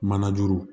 Manajuru